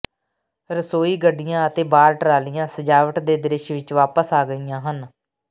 ਰਸੋਈ ਗੱਡੀਆਂ ਅਤੇ ਬਾਰ ਟਰਾਲੀਆਂ ਸਜਾਵਟ ਦੇ ਦ੍ਰਿਸ਼ ਵਿਚ ਵਾਪਸ ਆ ਗਈਆਂ ਹਨ